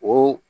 O